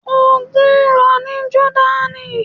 Ogun ń lọ ní Jọ́dánì.